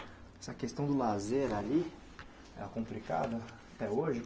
Essa questão do lazer ali era complicada até hoje?